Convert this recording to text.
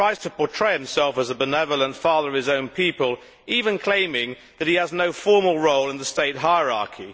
He tries to portray himself as a benevolent father of his own people, even claiming that he has no formal role in the state hierarchy.